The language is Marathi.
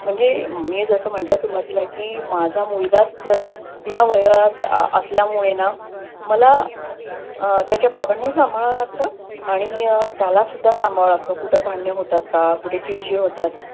म्हणजे मी जस म्हटल सुरुवातील कि माझाच मुलगाचं ह्या वयात असल्यामुळे ना, मला त्याच्या बाबानी सांभाळाव लागत आणि अं त्याला सुद्धा सांभाळाव लागत. कुठ भांडणे होतात का? कुठे चिडचिड होतात?